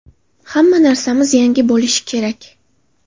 Hamma narsamiz yangi bo‘lishi kerak.